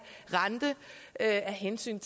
rente af hensyn